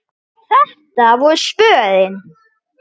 Þetta voru svörin.